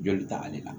Joli tagali la